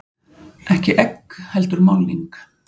Ekki egg heldur málning.